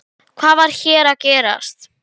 Þú varst alltaf svo flott.